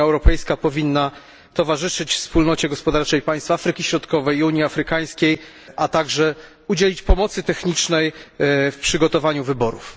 Unia Europejska powinna towarzyszyć Wspólnocie Gospodarczej Państw Afryki Środkowej i Unii Afrykańskiej, a także udzielić pomocy technicznej w przygotowaniu wyborów.